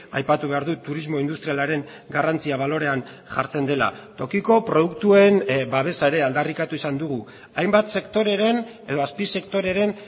aipatu behar dut turismo industrialaren garrantzia balorean jartzen dela tokiko produktuen babesa ere aldarrikatu izan dugu hainbat sektoreren edo azpisektoreren